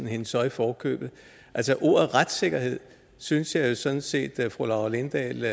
hende så i forkøbet altså ordet retssikkerhed synes jeg jo sådan set at fru laura lindahl